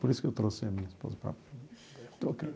Por isso que eu trouxe a minha esposa para.